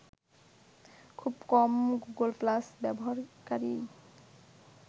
খুব কম Google glass ব্যবহারকারীই